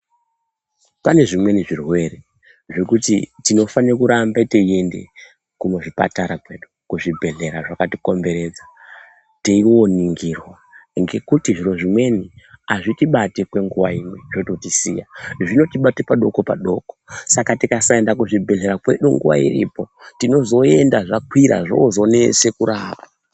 Pane zvimweni zvirwere zvekuti tinofane kuramba teiende kuzvipatara kwedu , kuzvibhedhlera zvakatikomberedza teiwoningirwa ngekuti zviro zvimweni azvitibati kwenguwa imwe zvotisiya , zvinotibata padoko padoko saka tikasaenda kuzvibhedhlera kwedu nguva iripo tinozoenda zvakwira zvozonese kurapa.